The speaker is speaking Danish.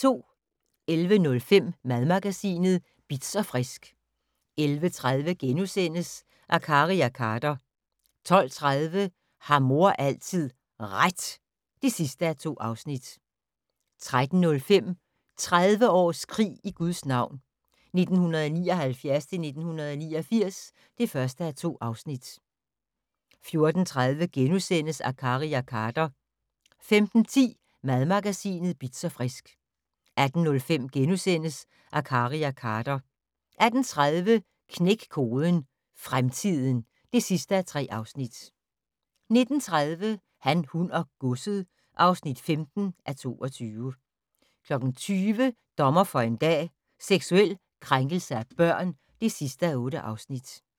11:05: Madmagasinet Bitz & Frisk 11:30: Akkari og Khader * 12:30: Har mor altid RET? (2:2) 13:05: 30 års krig i Guds navn - 1979-1989 (1:2) 14:30: Akkari og Khader * 15:10: Madmagasinet Bitz & Frisk 18:05: Akkari og Khader * 18:30: Knæk koden - fremtiden (3:3) 19:30: Han, hun og godset (15:22) 20:00: Dommer for en dag - seksuel krænkelse af børn (8:8)